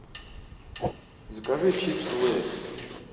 закажи чипсы лейс